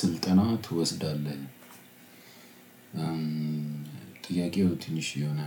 ስልጠና ትወስዳለህ? ጥያቄው ትንሽ የሆነ